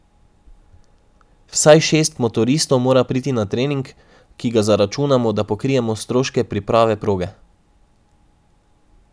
Vsaj šest motoristov mora priti na trening, ki ga zaračunamo, da pokrijemo stroške priprave proge.